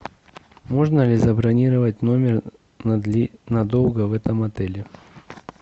можно ли забронировать номер надолго в этом отеле